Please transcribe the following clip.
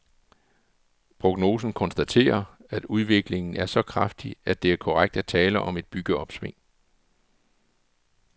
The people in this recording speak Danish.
Prognosen konstaterer, at udviklingen er så kraftig, at det er korrekt at tale om et byggeopsving.